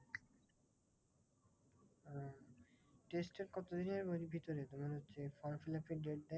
Test এর কতদিনের মানে ভিতরে মানে হচ্ছে form fill up এর date দেয়?